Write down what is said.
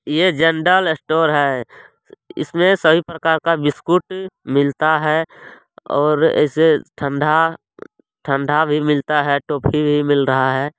ये general store है इसमे सभी प्रकार का बिस्कुट मिलता है और इसे ठंडा ठंडा भी मिलता है टोफी भी मिल रहा है।